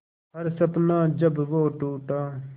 हर सपना जब वो टूटा